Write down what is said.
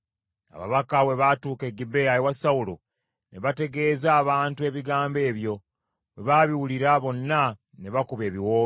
Ababaka bwe baatuuka e Gibea ewa Sawulo, ne bategeeza abantu ebigambo ebyo; bwe baabiwulira bonna ne bakuba ebiwoobe.